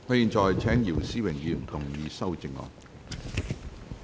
我現在請姚思榮議員動議修正案。